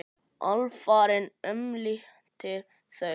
Alvaran umlukti þau.